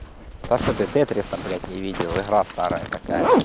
та что ты тетриса блять не видел игра старая такая